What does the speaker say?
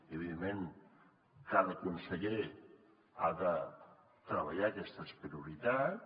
i evidentment cada conseller ha de treballar aquestes prioritats